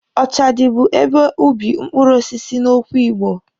Ọchadị bụ ebe ubi mkpụrụ osisi n'okwu Igbo.